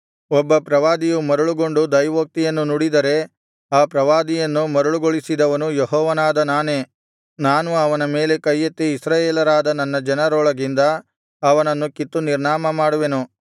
ಒಬ್ಬ ಪ್ರವಾದಿಯು ಮರುಳುಗೊಂಡು ದೈವೋಕ್ತಿಯನ್ನು ನುಡಿದರೆ ಆ ಪ್ರವಾದಿಯನ್ನು ಮರುಳುಗೊಳಿಸಿದವನು ಯೆಹೋವನಾದ ನಾನೇ ನಾನು ಅವನ ಮೇಲೆ ಕೈಯೆತ್ತಿ ಇಸ್ರಾಯೇಲರಾದ ನನ್ನ ಜನರೊಳಗಿಂದ ಅವನನ್ನು ಕಿತ್ತು ನಿರ್ನಾಮಮಾಡುವೆನು